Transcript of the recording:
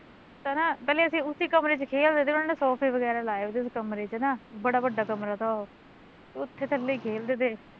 ਹੈਂ ਪਹਿਲੇ ਅਸੀਂ ਉਸੀ ਕਮਰੇ ਚ ਖੇਲਦੇ ਤੇ ਉਹਨਾਂ ਨੇ ਸੋਫ਼ੇ ਬਗੈਰਾ ਲਾਏ ਵੀ ਤੇ ਉਸ ਕਮਰੇ ਚ, ਬੜਾ ਵੱਡਾ ਕਮਰਾ ਤਾ ਉਹ ਤੇ ਉੱਥੇ ਥੱਲੇ ਈ ਖੇਲਦੇ ਤੇ